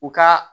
U ka